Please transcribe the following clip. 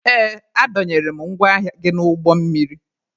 Ee, a dọnyere m ngwa ahịa gị n'ụgbọ mmiri